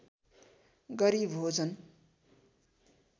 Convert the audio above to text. गरी भोजन